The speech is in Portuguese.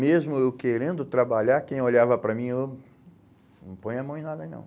Mesmo eu querendo trabalhar, quem olhava para mim, eu, não põe a mão em nada, não.